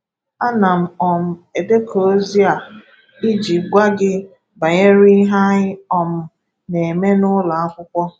Ana m um edekọ ozi a iji gwa gị banyere ihe anyị um na-eme na ụlọ akwụkwọ.